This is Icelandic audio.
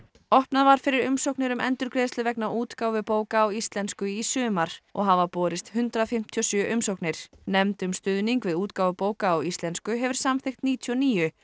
opnað var fyrir umsóknir um endurgreiðslu vegna útgáfu bóka á íslensku í sumar og hafa borist hundrað fimmtíu og sjö umsóknir nefnd um stuðning við útgáfu bóka á íslensku hefur samþykkt níutíu og níu